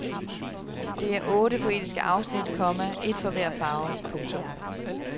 Det er otte poetiske afsnit, komma et for hver farve. punktum